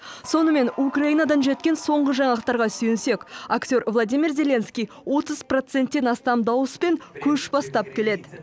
сонымен украинадан жеткен соңғы жаңалықтарға сүйенсек актер владимир зеленский отыз проценттен астам дауыспен көш бастап келеді